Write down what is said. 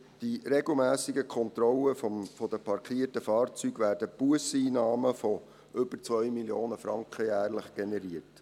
Durch die regelmässigen Kontrollen der parkierten Fahrzeuge werden Busseinnahmen von über 2 Mio. Franken jährlich generiert.